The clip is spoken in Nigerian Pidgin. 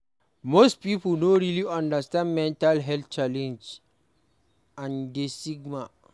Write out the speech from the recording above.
Most pipo no really understand mental health challenge and di stigma